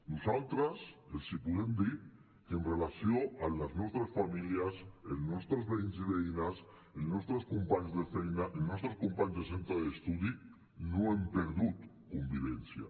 nosaltres els podem dir que en relació amb les nostres famílies els nostres veïns i veïnes els nostres companys de feina els nostres companys de centre d’estudi no hem perdut convivència